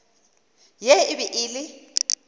ye e be e le